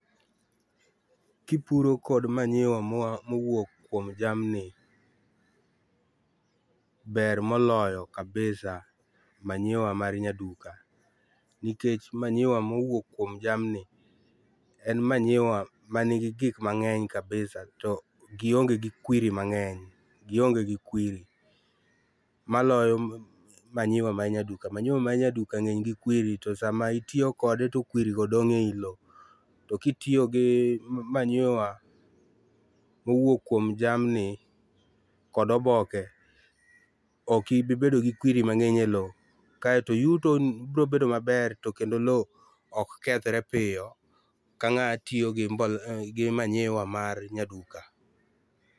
Kipuro kod manyiwa moa mowuok kuom jamni, ber moloyo kabisa manyiwa mar nyaduka, nikech manyiwa mowuok kuom jamni, en manyiwa man gi gik mang'eny kabisa to gionge gi kwiri mang'eny, gionge gi kwiri, maloyo manyiwa mar nyaduka manyiwa mar nyaduka ng'eny gi kwiri to sama itiyo kode to kwirigo dong' eiloo. To kitiyo gi manyiwa mowuok kuom jamni kod oboke, ok ibi bedo gi kwiri mang'eny eloo. Kaeto yuto biro bedo maber to kendo loo ok kethre piyo ka ng'amatiyo gi mbolea mar nyaduka.